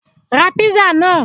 Ra písà náà!